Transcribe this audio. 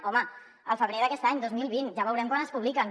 home el febrer d’aquest any dos mil vint ja veurem quan es publiquen